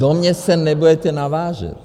Do mě se nebudete navážet!